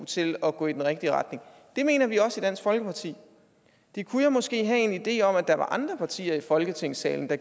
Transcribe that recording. til at gå i den rigtige retning det mener vi også i dansk folkeparti det kunne jeg måske have en idé om at der var andre partier i folketingssalen der